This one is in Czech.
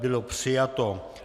Bylo přijato.